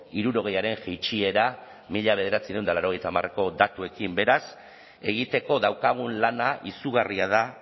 hirurogeiaren jaitsiera mila bederatziehun eta laurogeita hamarreko datuekin beraz egiteko daukagun lana izugarria da